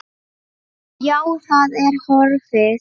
Já, það er horfið.